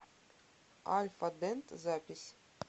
альфа дент запись